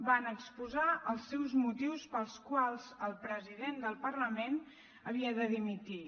van exposar els seus motius pels quals el president del parlament havia de dimitir